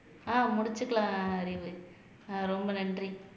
ஆஹ் முடிச்சுக்கலாம் அறிவு ஆஹ் ரொம்ப நன்றி